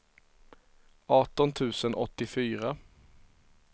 arton tusen åttiofyra